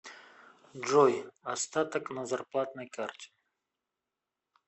джой остаток на зарплатной карте